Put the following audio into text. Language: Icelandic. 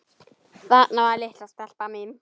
Þarna var litla stelpan mín.